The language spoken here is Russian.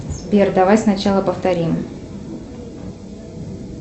сбер давай сначала повторим